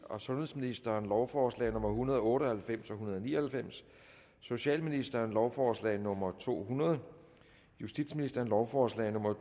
og sundhedsministeren lovforslag nummer hundrede og otte og halvfems og hundrede og ni og halvfems socialministeren lovforslag nummer to hundrede justitsministeren lovforslag nummer